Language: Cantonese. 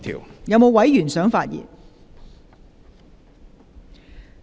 是否有委員想發言？